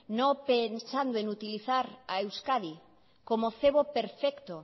no pensando en utilizar a euskadi como cebo perfecto